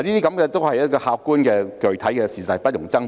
這些都是客觀而具體的事實，不容爭辯。